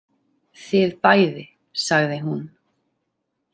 Þið bæði, sagði hún.